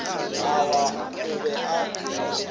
a wa o be a